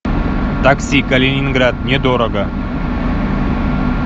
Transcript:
такси калининград не дорого